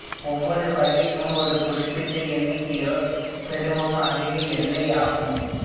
ஒவ்வொரு வகைக்கும் ஒரு குறிப்பிட்ட எண்ணிக்கையே பெருமம் அதிக எல்லை ஆகும்